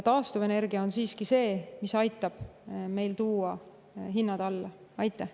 Taastuvenergia on siiski see, mis aitab meil hinnad alla tuua.